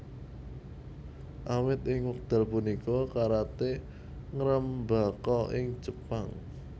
Awit ing wekdal punika karaté ngrembaka ing Jepang